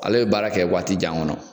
Ala ye baara kɛ waati jan kɔnɔ